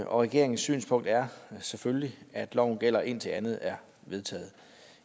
og regeringens synspunkt er selvfølgelig at loven gælder indtil andet er vedtaget